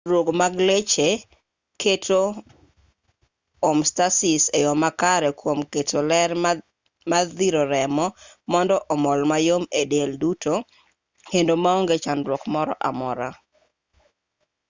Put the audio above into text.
tudruok mag leche keto homeostasis e yo makare kwom keto ler odhir remo mondo omol mayom e del duto kendo maonge chandruok moro amora